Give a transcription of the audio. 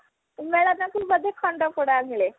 ମେଳନ କୁ ବୋଧେ ଖଣ୍ଡପଡା ମିଳେ